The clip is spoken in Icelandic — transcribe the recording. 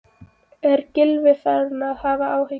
Er Gylfi farinn að hafa áhyggjur?